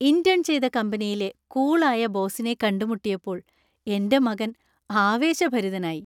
Intern ചെയ്ത കമ്പനിയിലെ cool ആയ ബോസിനെ കണ്ടുമുട്ടിയപ്പോൾ എന്‍റെ മകൻ ആവേശഭരിതനായി.